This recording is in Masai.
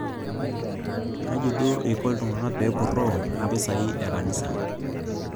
Kaji duo iko oltung'ani peyie epurroo impisai e kanisa